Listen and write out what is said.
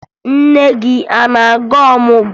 Nne gị a na-aga ọmụgwọ?